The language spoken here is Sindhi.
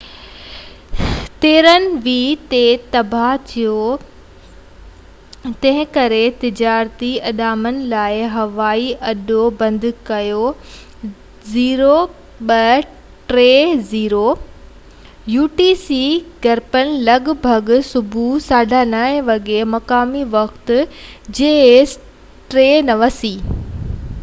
jas 39c گرپين لڳ ڀڳ صبح 9:30 وڳي مقامي وقت 0230 utc تي رن وي تي تباه ٿيو، تنهن ڪري تجارتي اڏامن لاءِ هوائي اڏو بند ڪيو